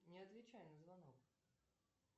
не отвечай на звонок